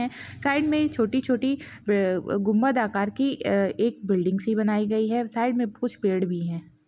Side मे छोटी छोटी वे अ-अ गुंबन्द आकार की एक बिल्डिंग सी बनाई गई है साइड मे कुछ पेड़ भी है।